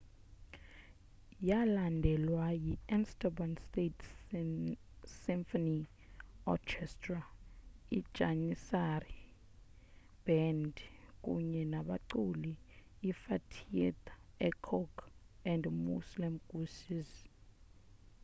yalandelwa yi istanbul state symphony orchestra ijanissary band kunye nabaculi ifatih erkoç and müslüm gürses